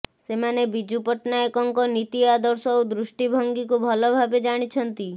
ସେମାନେ ବିଜୁ ପଟ୍ଟନାୟକଙ୍କ ନୀତି ଆଦର୍ଶ ଓ ଦୃଷ୍ଟିଭଙ୍ଗୀକୁ ଭଲ ଭାବେ ଜାଣିଛନ୍ତି